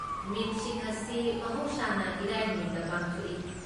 ꯃꯤꯠꯁꯤꯡ ꯑꯁꯤ ꯃꯍꯧꯁꯥꯅ ꯏꯔꯥꯏ ꯅꯨꯃꯤꯠꯇ ꯄꯥꯡꯊꯣꯛꯏ꯫